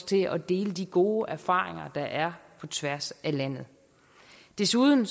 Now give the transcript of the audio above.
til at dele de gode erfaringer der er på tværs af landet desuden